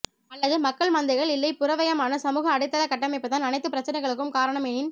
ஆல்லது மக்கள் மந்தைகள் இல்லை புறவயமான சமூக அடித்தளக் கட்டமைப்புதான் அனைத்துப் பிரச்சனைகளுக்கும் காரணம் எனின்